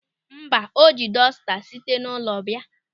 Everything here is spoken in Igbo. Mba, o ji dọsta site n'ụlọ bịa.